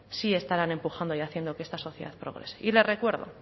sí estarán empujando y haciendo que esta sociedad progrese y le recuerdo